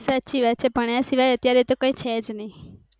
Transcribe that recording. સાચી વાત છે ભણ્યા સિવાય અત્યારે કાય છે જ ની